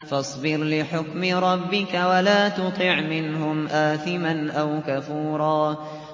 فَاصْبِرْ لِحُكْمِ رَبِّكَ وَلَا تُطِعْ مِنْهُمْ آثِمًا أَوْ كَفُورًا